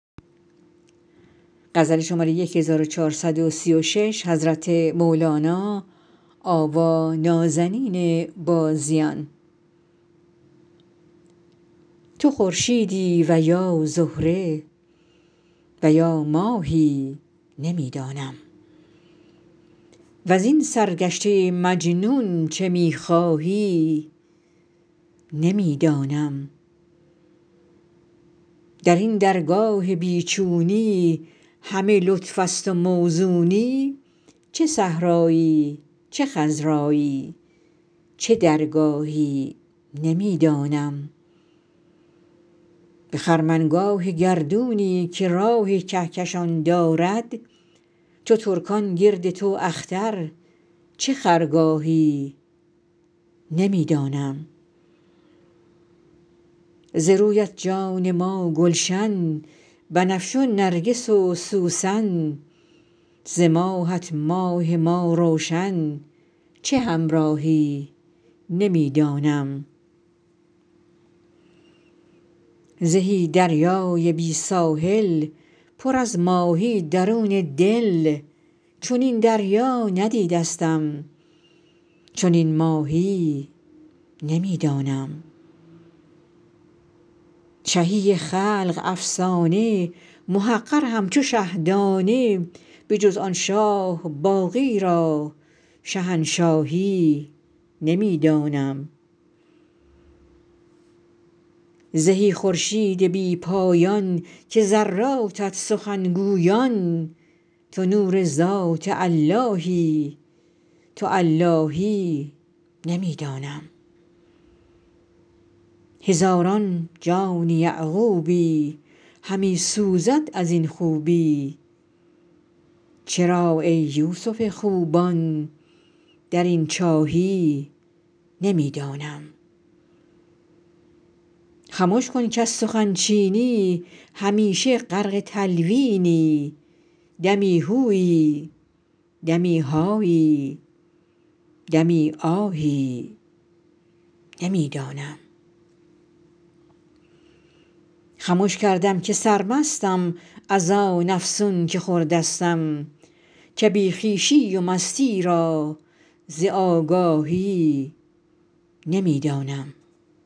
تو خورشیدی و یا زهره و یا ماهی نمی دانم وزین سرگشته مجنون چه می خواهی نمی دانم در این درگاه بی چونی همه لطف است و موزونی چه صحرایی چه خضرایی چه درگاهی نمی دانم به خرمنگاه گردونی که راه کهکشان دارد چو ترکان گرد تو اختر چه خرگاهی نمی دانم ز رویت جان ما گلشن بنفشه و نرگس و سوسن ز ماهت ماه ما روشن چه همراهی نمی دانم زهی دریای بی ساحل پر از ماهی درون دل چنین دریا ندیدستم چنین ماهی نمی دانم شهی خلق افسانه محقر همچو شه دانه بجز آن شاه باقی را شهنشاهی نمی دانم زهی خورشید بی پایان که ذراتت سخن گویان تو نور ذات اللهی تو اللهی نمی دانم هزاران جان یعقوبی همی سوزد از این خوبی چرا ای یوسف خوبان در این چاهی نمی دانم خمش کن کز سخن چینی همیشه غرق تلوینی دمی هویی دمی هایی دمی آهی نمی دانم خمش کردم که سرمستم از آن افسون که خوردستم که بی خویشی و مستی را ز آگاهی نمی دانم